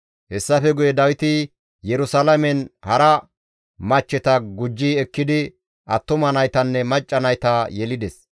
Hessafe guye Dawiti Yerusalaamen hara machcheta gujji ekkidi attuma naytanne macca nayta yelides.